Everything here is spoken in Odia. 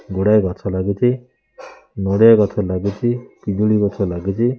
ଗୁଡ଼ାଏ ଗଛ ଲାଗିଚି ନଡ଼ିଆ ଗଛ ଲାଗିଚି ପିଜୁଳି ଗଛ ଲାଗିଚି।